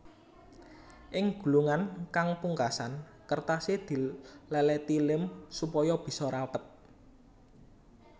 Ing gulungan kang pungkasan kertasé dilèlèti lém supaya bisa rapet